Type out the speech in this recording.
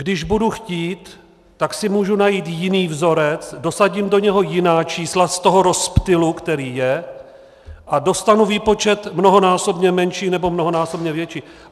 Když budu chtít, tak si můžu najít jiný vzorec, dosadím do něj jiná čísla z toho rozptylu, který je, a dostanu výpočet mnohonásobně menší, nebo mnohonásobně větší.